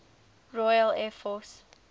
royal air force